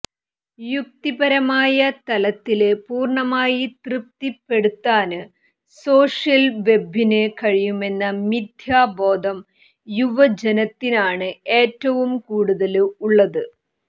യുക്തിപരമായ തലത്തില് പൂര്ണമായി തൃപ്തിപ്പെടുത്താന് സോഷ്യല് വെബിന് കഴിയുമെന്ന മിഥ്യാബോധം യുവജനത്തിനാണ് ഏറ്റവും കൂടുതല് ഉള്ളത്